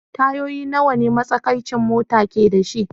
Tayoyin nawa ne matsakaicin mota ke da shi?